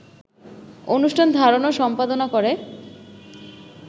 অনুষ্ঠান ধারণ ও সম্পাদনা করে